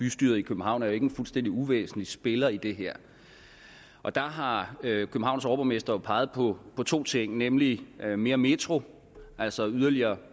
bystyret i københavn er ikke en fuldstændig uvæsentlig spiller i det her og der har københavns overborgmester jo peget på to ting nemlig mere metro altså yderligere